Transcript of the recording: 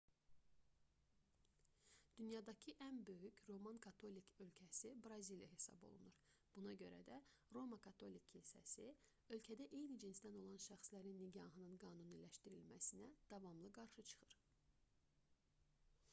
dünyadakı ən böyük roman katolik ölkəsi braziliya hesab olunur buna görə də roma katolik kilsəsi ölkədə eyni cinsdən olan şəxslərin nikahının qanuniləşdirilməsinə davamlı qarşı çıxır